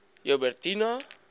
joubertina